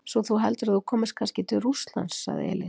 Svo þú heldur að þú komist kannski til Rússlands, sagði Elín.